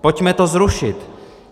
Pojďme to zrušit.